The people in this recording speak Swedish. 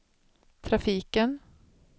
trafiken